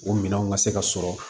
O minɛnw ka se ka sɔrɔ